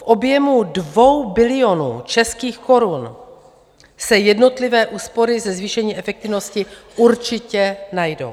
V objemu 2 bilionů českých korun se jednotlivé úspory ze zvýšení efektivnosti určitě najdou.